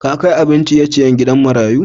Ka kai abin ciye-ciyen gidan marayun?